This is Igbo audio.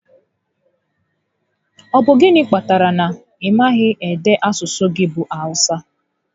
Ọ bụ gịnị kpatara na ị maghị ede asụsụ gị bụ Awụsa?